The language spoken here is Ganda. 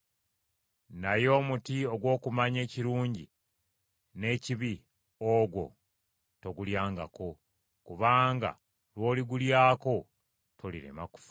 naye omuti ogw’okumanya ekirungi n’ekibi ogwo togulyangako, kubanga lw’oligulyako tolirema kufa.”